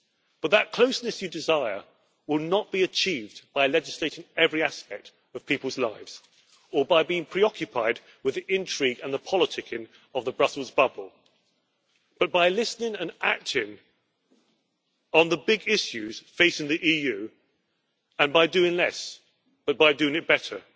But that closeness you desire will not be achieved by legislating every aspect of people's lives or by being preoccupied with the intrigue and the politicking of the Brussels bubble, but by listening and acting on the big issues facing the EU and by doing less and doing it better